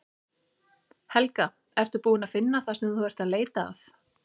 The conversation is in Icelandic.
Helga: Ertu búin að finna það sem þú ert að leita að?